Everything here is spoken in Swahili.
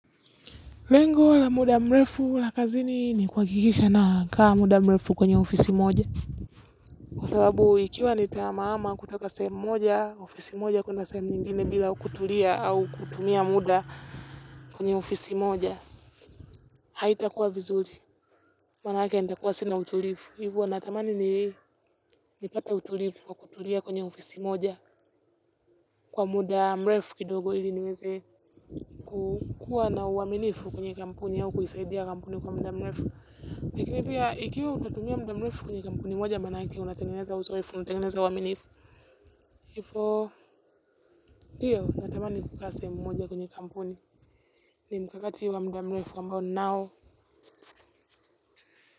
Lengo la muda mrefu la kazini ni kuhakikisha nakaa muda muefu kwenye ofisi moja. Kwa sababu ikiwa nita ama ama kutoka sehemu moja, ofisi moja kwenda sehemu nyingine bila kutulia au kutumia muda kwenye ofisi moja. Haita kuwa vizuri, maanake nitakuwa sina utulifu. Hivo natamani ni nipate utulifu kwa kutulia kwenye ofisi moja kwa muda mrefu kidogo ili niweze kukua na uwaminifu kwenye kampuni au kuisaidia kampuni kwa muda mrefu. Pia ikiwa utatumia mdamlefu kwenye kampuni moja maanake, unatangeneza uzoefu, unatangeneza uaminifu. Ifo, ndiyo, natamani kukaa sehemu moja kwenye kampuni. Ni mkakati wa mdamlefu ambao nnao.